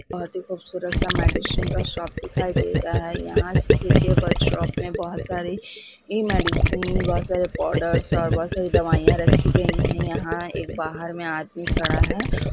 बहोत ही खुबसूरत-सा मेडिसिन का शॉप दिखाई दे रहा है यहाँ पर सी.के. वर्कशॉप में बहोत सारे मेडिसिन बहोत सारे पाउडर बहोत सारे दवाईया रखे गए है यहाँ बाहर में एक आदमी खड़ा है।